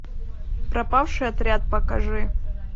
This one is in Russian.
пропавший отряд покажи